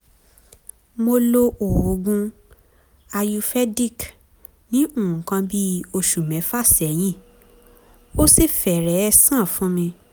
mo lo oògùn ayurvedic ní nǹkan bí oṣù mẹ́fà sẹ́yìn ó sì fẹ́rẹ̀ẹ́ sàn fún mi